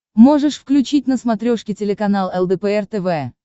можешь включить на смотрешке телеканал лдпр тв